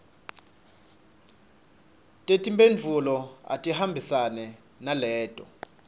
tetimphendvulo atihambisane naleto